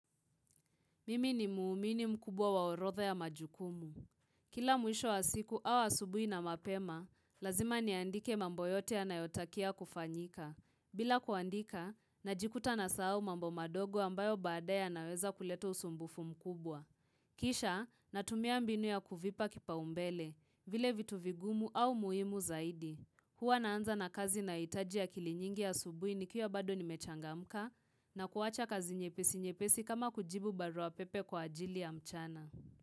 Mimi ni muumini mkubwa waorodha ya majukumu. Kila mwisho wa siku au asubuhi na mapema, lazima niandike mambo yote yanayotakia kufanyika. Bila kuandika, najikuta nasahau mambo madogo ambayo baadaye yanaweza kuleta usumbufu mkubwa. Kisha, natumia mbinu ya kuvipa kipaombele, vile vitu vigumu au muhimu zaidi. Huwa naanza na kazi nayoitaji akili nyingi ya asubuhi nikiwa bado nimechangamka na kuwacha kazi nyepesi nyepesi kama kujibu barua pepe kwa ajili ya mchana.